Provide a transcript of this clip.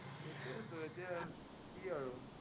সেইটোৱতো, এতিয়া কি আৰু।